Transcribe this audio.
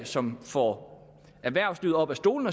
som får erhvervslivet op af stolen